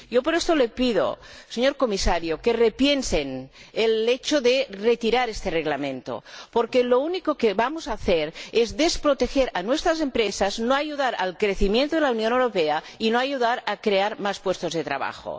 Por esto le pido, señor Comisario, que repiensen el hecho de retirar este Reglamento, porque lo único que vamos a hacer es desproteger a nuestras empresas, no ayudar al crecimiento de la Unión Europea y no ayudar a crear más puestos de trabajo.